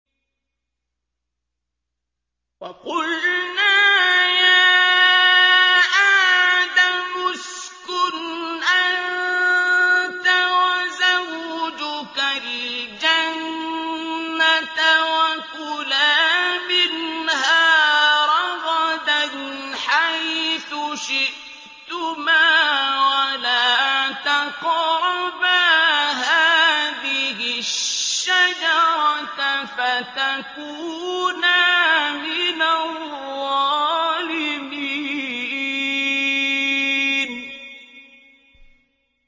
وَقُلْنَا يَا آدَمُ اسْكُنْ أَنتَ وَزَوْجُكَ الْجَنَّةَ وَكُلَا مِنْهَا رَغَدًا حَيْثُ شِئْتُمَا وَلَا تَقْرَبَا هَٰذِهِ الشَّجَرَةَ فَتَكُونَا مِنَ الظَّالِمِينَ